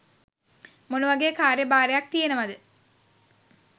මොනවගේ කාර්‍යය භාරයක් තියෙනවද